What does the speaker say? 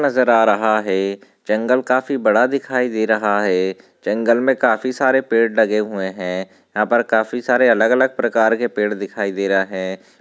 नजर आ रहा है जंगल काफी बड़ा दिखाई दे रहा है जंगल में काफी सारे पेड़ लगे हुए है यहा पर काफी सारे अलग अलग प्रकार के पेड़ दिखाई दे रहे है।